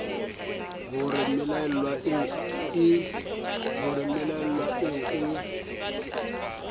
ho re mmelaellwa eo e